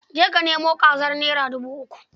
Je ka nemo kazar naira dubu uku.